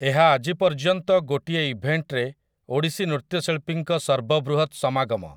ଏହା ଆଜି ପର୍ଯ୍ୟନ୍ତ ଗୋଟିଏ ଇଭେଣ୍ଟରେ ଓଡ଼ିଶୀ ନୃତ୍ୟଶିଳ୍ପୀଙ୍କ ସର୍ବବୃହତ ସମାଗମ ।